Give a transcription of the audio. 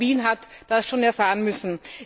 Aber auch Wien hat das schon erfahren müssen.